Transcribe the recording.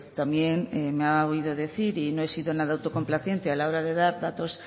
también me ha oído decir y no he sido nada autocomplaciente a la hora dar datos